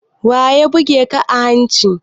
Waya buge ka a hanci?